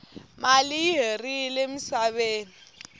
mali i herile musaveni